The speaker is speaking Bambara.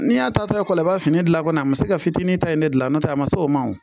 N'i y'a ta ekɔli la i b'a fini gilan kɔni a ma se ka fitinin ta in ne gilan n'o tɛ a ma se o ma o